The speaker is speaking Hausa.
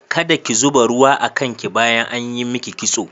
Kada ki zuba ruwa a kan ki bayan an yi miki kitso.